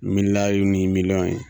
milaliw ni milɔn ye.